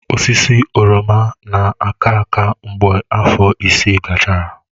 Osisi oroma na-aka aka mgbe afọ isii gachara.